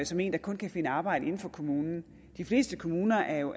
som en der kun kan finde arbejde inden for kommunen og de fleste kommuner er jo